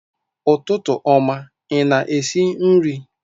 Ụtụtụ ọma, ị na-esi nri?